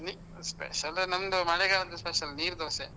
ನೀ, special ನಮ್ದು ಮಳೆಗಾಲದ್ದು special ನೀರು ದೋಸೆ.